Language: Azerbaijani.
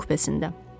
Onun kupesində.